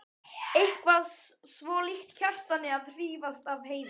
Eitthvað svo líkt Kjartani að hrífast af Heiðu.